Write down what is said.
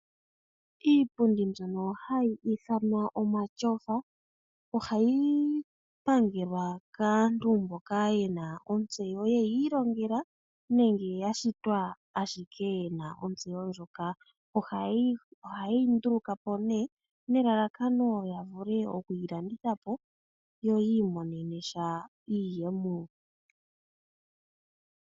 Iipundi mbyono hayi ithanwa omatyofa ohayi pangelwa kaantu mboka ye na ontseyo ye yi ilongela nenge ya shitwa ashike ye na ontseyo ndjoka. Oha ye yi nduluka po nelalakano lyo ku yi landitha po, yo yi imonene iiyemo.